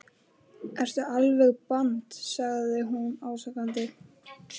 Ertu alveg band sagði hún ásakandi.